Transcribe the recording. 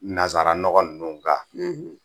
Nansaranɔgɔ ninnu kan